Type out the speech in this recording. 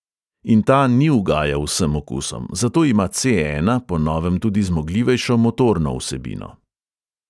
In ta ni ugajal vsem okusom, zato ima C ena po novem tudi zmogljivejšo motorno vsebino.